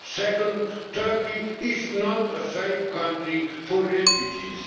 Second, Turkey is not a safe country for refugees.